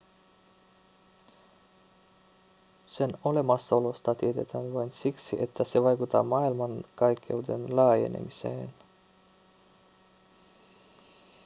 sen olemassaolosta tiedetään vain siksi että se vaikuttaa maailmankaikkeuden laajenemiseen